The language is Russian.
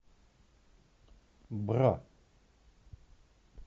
бра